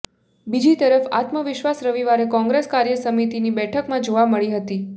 બીજી તરફ આત્મવિશ્વાસ રવિવારે કોંગ્રેસ કાર્ય સમિતીની બેઠકમાં જોવા મળી હતી